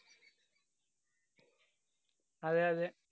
അതെ, അതെ.